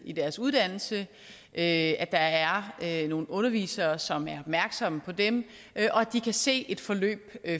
i deres uddannelse at der er er nogle undervisere som er opmærksomme på dem og at de kan se et forløb